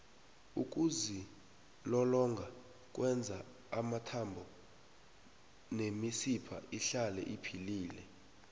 ukuzilolonga kwenza amathambo nemisipha ihlale iphilile